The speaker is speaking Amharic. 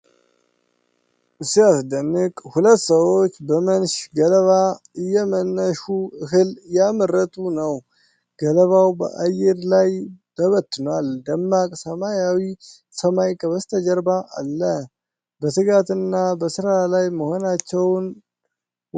ሲያስደንቅ ! ሁለት ሰዎች በመንሽ ገለባ እየመንሹ እህል እያመረቱ ነው። ገለባው በአየር ላይ ተበትኗል፤ ደማቅ ሰማያዊ ሰማይ ከበስተጀርባ አለ። በትጋትና በሥራ ላይ መሆናቸውን ዋው!